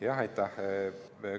Jah, aitäh!